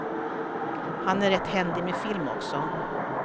Han är rätt händig med film också.